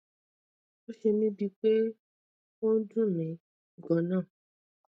ó ṣe mí bíi pé ó ń dun mi gan